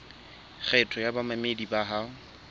kgetho ya bamamedi bao ho